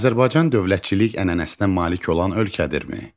Azərbaycan dövlətçilik ənənəsinə malik olan ölkədirmi?